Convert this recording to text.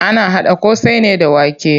Ana haɗa ƙosai ne da wake.